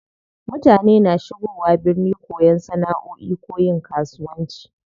Mutane na shigowa birni koyan sana'oi ko yin kasuwanci.